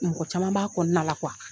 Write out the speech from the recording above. Mɔgɔ caman b'a kɔnɔna na la kuwa